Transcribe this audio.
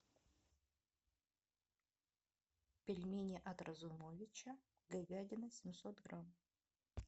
пельмени от разумовича говядина семьсот грамм